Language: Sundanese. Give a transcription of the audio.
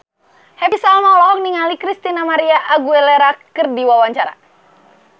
Happy Salma olohok ningali Christina María Aguilera keur diwawancara